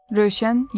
Rövşən Yerfi.